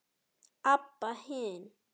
Abba hin.